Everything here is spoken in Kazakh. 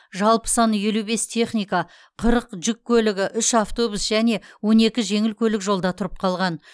жалпы саны елу бес техника қырық жүк көлігі үш автобус және он екі жеңіл көлік жолда тұрып қалған